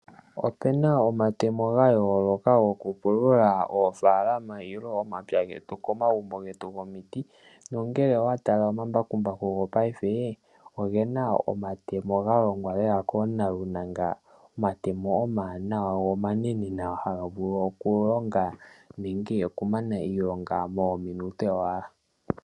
Opena omatemo ga yooloka goku pulula oofalama nenge omapya getu komagumbo getu gomiti, nongele owatala omambakumbaku gopaife ogena omatemo ga longwa lela koonalunanga. Omatemo omawanawa go omanene nawa haga vulu oku longa nenge oku mana iilonga mominute owala.